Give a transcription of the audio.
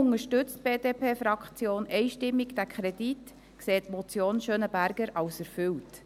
Deshalb unterstützt die BDP-Fraktion einstimmig diesen Kredit und erachtet die Motion Schönenberger als erfüllt.